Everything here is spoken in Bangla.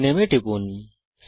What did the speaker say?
রিনেম এ টিপুন